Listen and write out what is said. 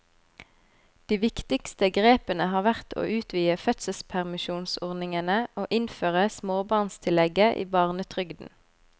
De viktigste grepene har vært å utvide fødselspermisjonsordningene og innføre småbarnstillegget i barnetrygden.